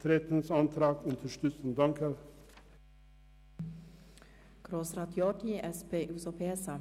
Bitte unterstützen Sie den Antrag auf Nichteintreten.